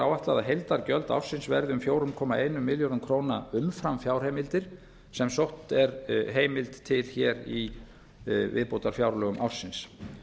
að heildargjöld ársins verði um fjóra komma einn milljarður króna umfram fjárheimildir sem hér er sótt um til í viðbótarfjárlögum ársins